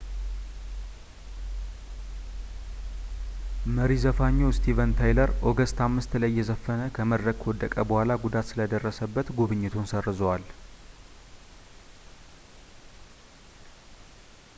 መሪ ዘፋኙ ስቲቨን ታይለር ኦገስት 5 ላይ እየዘፈነ ከመድረክ ከወደቀ በኋላ ጉዳት ስለደረሰበት ጉብኝቱን ሰርዘዋል